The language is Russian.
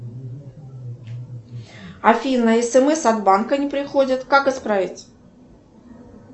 афина смс от банка не приходят как исправить